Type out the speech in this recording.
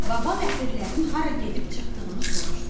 Baba ləpirlərin hara gedib çıxdığını soruşdu.